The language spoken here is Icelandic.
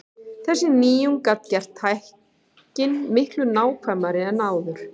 Þessi nýjung gat gert tækin mikið nákvæmari en áður.